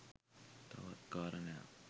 තවත් කාරණයක්